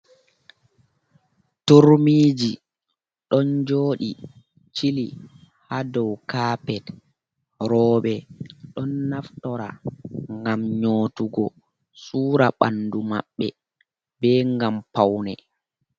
Turmiji don jodi chili ha dow kapet, Robe ɗon naftora gam nyotugo sura bandu mabɓe, be gam paune.